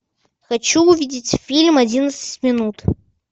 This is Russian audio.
хочу увидеть фильм одиннадцать минут